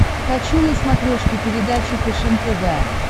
хочу на смотрешке передачу фэшен тв